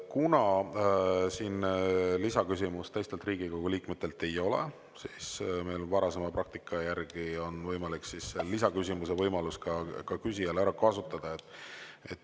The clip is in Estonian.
Kuna siin lisaküsimust teistelt Riigikogu liikmetelt ei ole, siis on meil varasema praktika järgi küsijal võimalik ka lisaküsimuse võimalus ära kasutada.